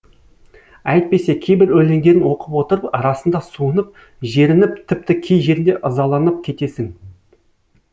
әйтпесе кейбір өлеңдерін оқып отырып расында суынып жерініп тіпті кей жерінде ызаланып кетесің